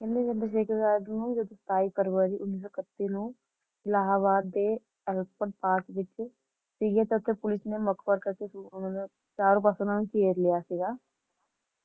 ਕਹਿੰਦੇ ਚੰਦਰ ਸ਼ੇਖਰ ਆਜ਼ਾਦ ਨੂੰ Twenty Seven February Nineteen Thirty-One ਨੂੰ ਅਲਾਹਾਬਾਦ ਦੇ ਅਲਫਰੈਡ ਪਾਰਕ ਵਿੱਚ ਪੁਲਿਸ ਨੇ ਕਰਕੇ ਚਾਰੋਂ ਪਾਸੇ ਤੋਂ ਘੇਰ ਲਿਆ ਸੀਗਾ